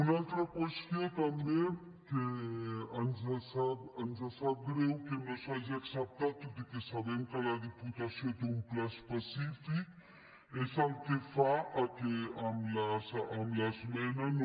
una altra qüestió també que ens sap greu que no s’hagi acceptat tot i que sabem que la diputació té un pla específic és el que fa que amb l’esmena no